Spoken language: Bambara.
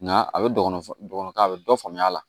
Nka a bɛ dɔgɔnɔn ka a bɛ dɔ faamuya a la